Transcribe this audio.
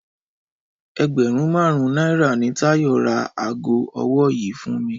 Ẹgbẹ̀rún márùn-ún náírà ni Táyọ̀ ra aago ọwọ́ yìí fún mi